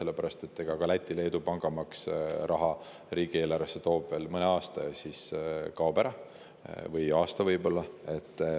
Ka Lätis ja Leedus toob pangamaks riigieelarvesse raha veel mõne aasta või võib-olla aasta, siis kaob ära.